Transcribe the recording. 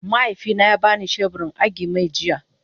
mahaifi na ya bani shebur in agi-mai jiya.